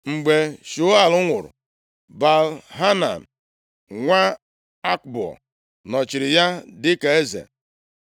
Mgbe Shaul nwụrụ, Baal-Hanan nwa Akboa, nọchiri ya dịka eze.